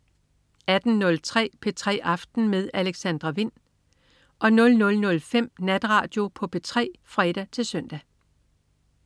18.03 P3 aften med Alexandra Wind 00.05 Natradio på P3 (fre-søn)